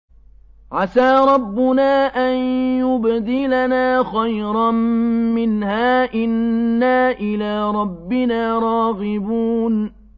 عَسَىٰ رَبُّنَا أَن يُبْدِلَنَا خَيْرًا مِّنْهَا إِنَّا إِلَىٰ رَبِّنَا رَاغِبُونَ